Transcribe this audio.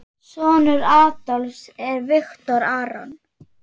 Sonur Adolfs er Viktor Aron.